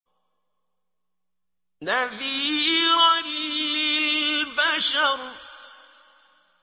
نَذِيرًا لِّلْبَشَرِ